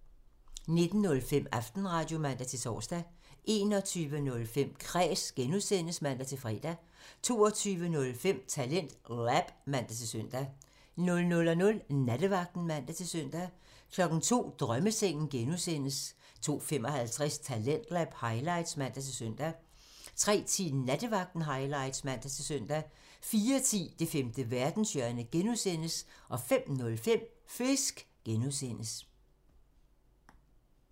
19:05: Aftenradio (man-tor) 21:05: Kræs (G) (man-fre) 22:05: TalentLab (man-søn) 00:00: Nattevagten (man-søn) 02:00: Drømmesengen (G) (man) 02:55: Talentlab highlights (man-søn) 03:10: Nattevagten highlights (man-søn) 04:10: Det femte verdenshjørne (G) (man) 05:05: Fisk (G)